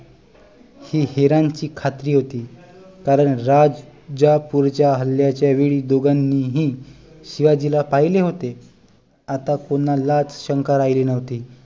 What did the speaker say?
ही हेरांची खात्री होती कारण राजापूरच्या हल्ल्याच्या वेळी दोघांनीही शिवाजीला पहिले होते आता कोणालाच शंका राहिली नव्हती